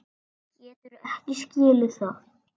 Geturðu ekki skilið það?